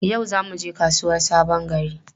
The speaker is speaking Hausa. Yau za mu je kasuwar Sabon Gari?